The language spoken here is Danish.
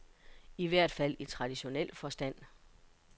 I hvert fald i traditionel forstand.